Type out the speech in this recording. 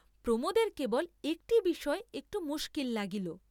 প্রমোদের কেবল একটি বিষয়ে একটু মুস্কিল লাগিল।